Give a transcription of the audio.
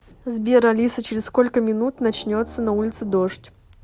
сбер алиса через сколько минут начнется на улице дождь